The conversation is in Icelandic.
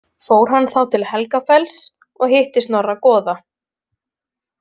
Fór hann þá til Helgafells og hitti Snorra goða.